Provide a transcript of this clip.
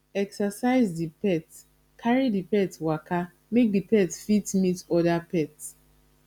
exercise di pet carry di pet waka make di pet fit meet oda pet